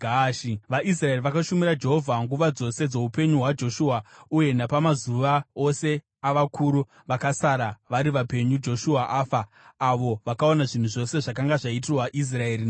VaIsraeri vakashumira Jehovha nguva dzose dzoupenyu hwaJoshua, uye napamazuva ose avakuru vakasara vari vapenyu Joshua afa, avo vakaona zvinhu zvose zvakanga zvaitirwa Israeri naJehovha.